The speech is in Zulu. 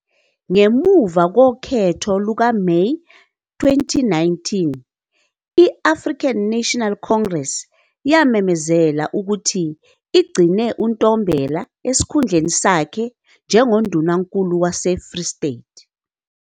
Ngemuva kokhetho lwangoMeyi 2019, i- African National Congress yamemezela ukuthi igcine uNtombela esikhundleni sakhe njengoNdunankulu waseFree State.